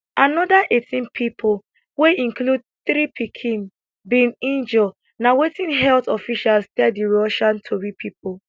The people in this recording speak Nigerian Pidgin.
anoda 18 pipo wey include three pikin bin injure na wetin health officials tell di russian tori pipo